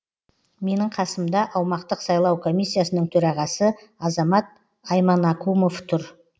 менің қасымда аумақтық сайлау комиссиясының төрағасы азамат айманакумов тұр